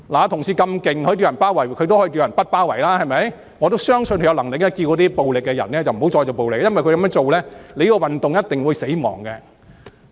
同事這麼厲害，可以叫人包圍，他當然也可以叫人不包圍立法會，我相信他有能力呼籲行使暴力的人不要再使用暴力，因為他們這樣做，這個運動便一定會死亡。